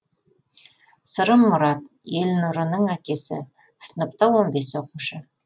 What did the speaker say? сырым мұрат елнұрының әкесі сыныпта он беес оқушы